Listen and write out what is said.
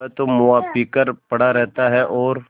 वह तो मुआ पी कर पड़ा रहता है और